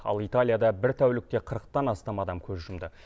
ал италияда бір тәулікте қырықтан астам адам көз жұмды